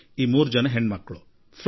ನಿಜಕ್ಕೂ ಇದು ಅದೆಷ್ಟು ಹೆಮ್ಮೆ ಎನಿಸುತ್ತದೆ